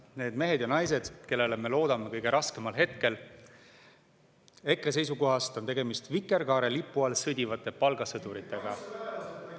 Need mehed ja naised, kellele me loodame kõige raskemal hetkel – EKRE seisukohast on tegemist vikerkaarelipu all sõdivate palgasõduritega.